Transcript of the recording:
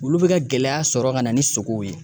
Olu bɛ ka gɛlɛya sɔrɔ ka na ni sogow ye